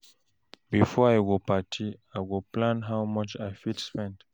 Before I go party, I go plan how much I fit spend.